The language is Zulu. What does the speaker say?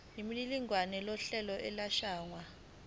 nemininingwane yohlelo lokwelashwa